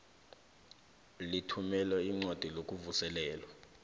lithumela iincwadi zokuvuselelwa